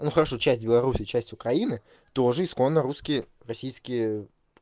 но хорошо часть беларуси часть украины тоже исконно русские российские